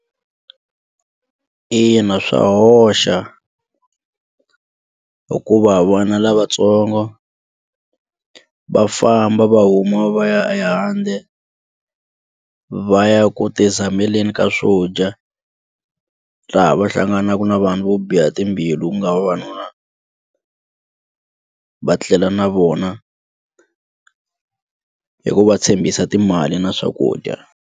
Ina swa hoxa hikuva vana lavatsongo va famba va huma va ya ehandle va ya ku ti zameleni ka swo dya laha va hlanganaka na vanhu vo biha timbilu ku nga vavanuna va tlela na vona hi ku va tshembisa timali na swakudya.